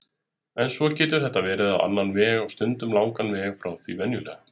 En svo getur þetta verið á annan veg- og stundum langan veg frá því venjulega.